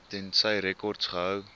tensy rekords gehou